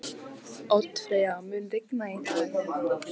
Oddfreyja, mun rigna í dag?